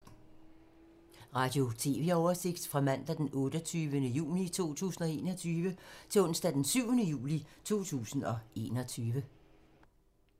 Radio/TV oversigt fra mandag d. 28. juni 2021 til onsdag d. 7. juli 2021